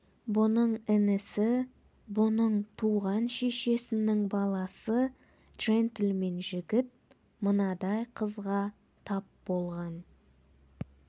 бұның інісі бұның туған шешесінің баласы джентльмен жігіт мынадай қызға тап болған